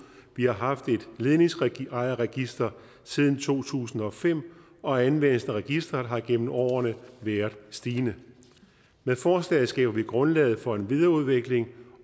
vi har haft et ledningsejerregister siden to tusind og fem og anvendelsen af registreret har gennem årene været stigende med forslaget skaber vi grundlaget for en videreudvikling